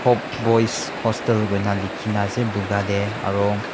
hope boys hostel boina likhi na ase boga teh aro.